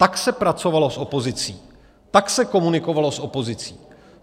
Tak se pracovalo s opozicí, Tak se komunikovalo s opozicí.